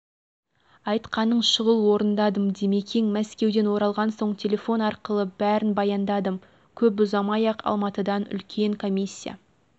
айтқанын шұғыл орындадым димекең мәскеуден оралған соң телефон арқылы бәрін баяндадым көп ұзамай-ақ алматыдан үлкен комиссия